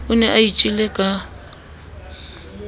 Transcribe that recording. o ne a itjele ka